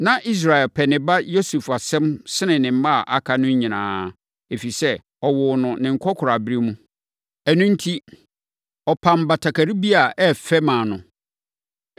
Na Israel pɛ ne ba Yosef asɛm sene ne mma a aka no nyinaa, ɛfiri sɛ, ɔwoo no ne nkɔkoraaberɛ mu; ɛno enti, ɔpam batakari bi a ɛyɛ fɛ maa no.